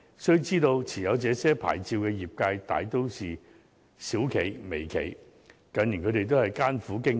須知道，持有這些牌照的業界大都是小企及微企，近年它們均艱苦經營。